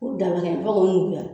B'u dalakɛɲɛ fo k'o nuguya